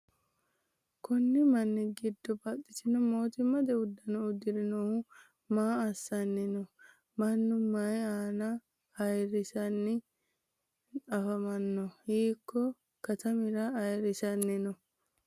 Konni manni gido baxitino mootimmate uduno udire noohu maa assanni no? Mannu mayi ayaanna ayirisanni afamano? Hiiko katamira ayirisanni no?